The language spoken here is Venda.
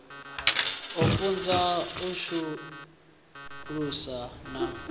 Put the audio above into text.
u funza u sudzulusa na